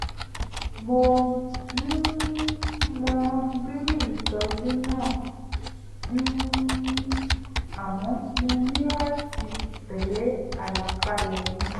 mo um mọ rírì ìtọ́jú náà um àmọ́ mo ní láti tẹ́lé àlàkalẹ̀ mi